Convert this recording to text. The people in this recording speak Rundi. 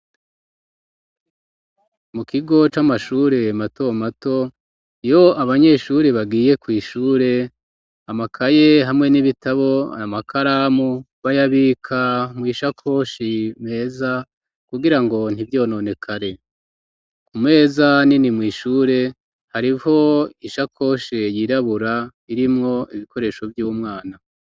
Mu kigo c'amashure matomato iyo abanyeshuri bagiye kwishure amakaye hamwe n'ibitabo amakaramu bayabika mwishakoshi meza kugira ngo ntivyononekare ku meza nini mwishure hariho wo ishakoshe yirabura irimwo ibikoresho vy'umwana.